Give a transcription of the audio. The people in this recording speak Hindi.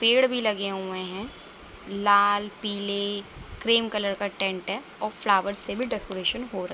पेड़ भी लगे हुए हैं। लाल पीले क्रीम कलर का टेंट है और फ्लॉवर से भी डेकोरेशन हो --